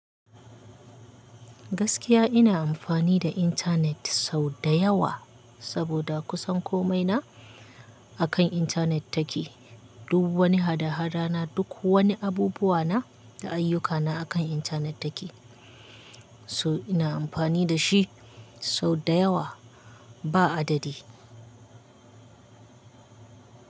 Gaskiya ina amfani da intanet sau da yawa saboda kusan komai na akan intanet take. Duk wani hada-hada na, duk wani abubuwa na da ayyukana akan intanet take. So ina amfani da shi sau da yawa ba adadi.